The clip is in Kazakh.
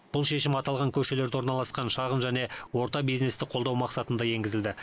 бұл шешім аталған көшелерде орналасқан шағын және орта бизнесті қолдау мақсатында енгізілді